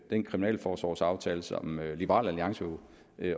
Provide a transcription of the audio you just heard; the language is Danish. den kriminalforsorgsaftale som liberal alliance jo